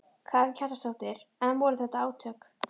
Karen Kjartansdóttir: En voru þetta átök?